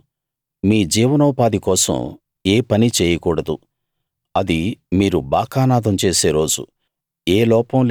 ఆ రోజు మీ జీవనోపాధి కోసం ఏ పనీ చేయకూడదు అది మీరు బాకానాదం చేసే రోజు